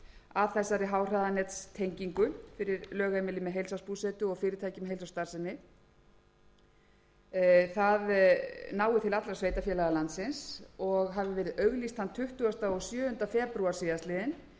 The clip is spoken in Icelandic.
að þessari háhraðanettengingu fyrir lögheimili með heilsársbúsetu og fyrirtæki með heilsársstarfsemi nái til allra sveitarfélaga landsins og hafi verið auglýst þann tuttugasta og sjöunda febrúar síðastliðnum það kemur sömuleiðis